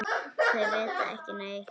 Þau vita ekki neitt.